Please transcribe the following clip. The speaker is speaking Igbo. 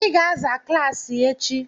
I ga-aza klaasị echi!